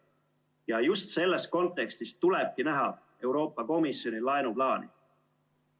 Ja just selles kontekstis tulebki näha Euroopa Komisjoni laenuplaani.